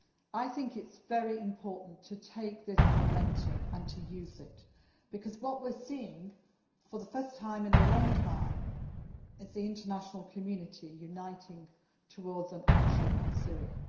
I think it is very important to take this momentum and to use it because what we are seeing, for the first time in a long time, is the international community uniting towards an action on Syria.